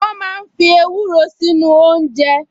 Wọ́n máa ń fi ewúro sínú oúnjẹ